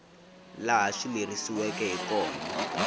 laha swi lerisiweke hi kona